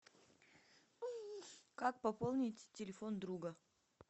как пополнить телефон друга